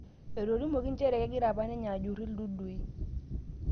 Etolimuoki njere kegira apananinye ajurru ildudui